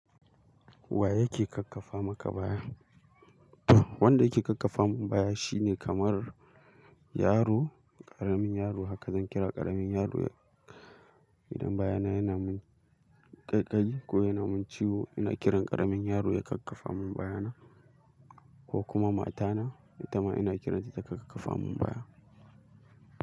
Wa yake kakkafa maka baya? Wanda yake kakkafa mun baya shine kamar yaro, ƙaramin yaro haka zan kira ƙaramin yaro idan bayana yana min kaikayi ko yana mun ciwo ina kiran yaro ya kakaba nun bayana ko kuma mata na itama ina kiranta ta kakkaba mun baya.